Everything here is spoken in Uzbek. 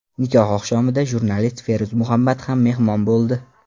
Nikoh oqshomida jurnalist Feruz Muhammad ham mehmon bo‘ldi.